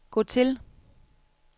gå til